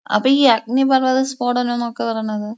അപ്പോ ഈ അഗ്നിപർവ്വതം സ്ഫോടനം നൊക്കെ പറണത്?